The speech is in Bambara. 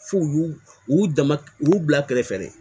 F'u y'u u dama u bila kɛrɛfɛ dɛ